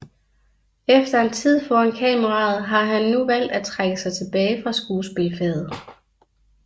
Efter en tid foran kameraet har han nu valgt at trække sig tilbage fra skuespilfaget